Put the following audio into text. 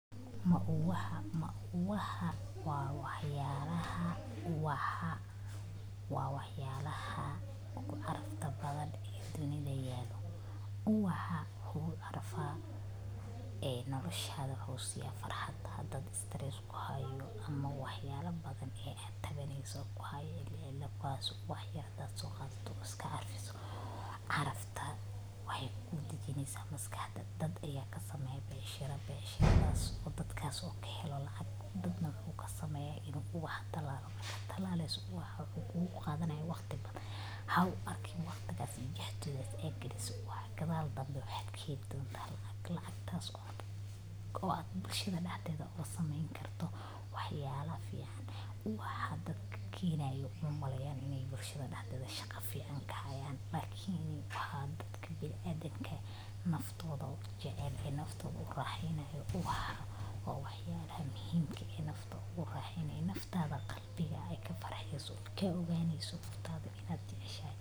Mauwaha ,mauwaha Ubaxu waa qaybta ugu quruxda badan ee geedka, wuxuuna leeyahay door muhiim ah oo ku saabsan taranka dhirta. Marka la eego bilicsanaanta, ubaxu wuxuu qurxiyaa deegaanka, wuxuuna soo jiitaa dadka iyo xayawaanka qaarkood, sida shinnida iyo balanbaalista, kuwaasoo ka qayb qaata faafinta abuurka . Ubaxu wuxuu ka kooban yahay qaybo kala duwan sida caleemaha ubaxa , garka ubaxa , iyo ilmo-galeenka , kuwaasoo wada shaqeeya si loo helo miraha. Midabada kala duwan ee ubaxa – sida casaanka, huruudda, buluugga, iyo caddaanka – waxay leeyihiin saameyn niyadeed, waxaana badanaa loo adeegsadaa hadiyad ahaan, gaar ahaa.